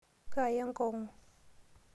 Kaaya enkongu.